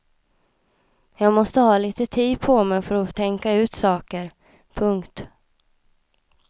Jag måste ha lite tid på mig för att tänka ut saker. punkt